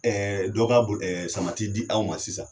Ɛɛ bo samati di aw ma sisan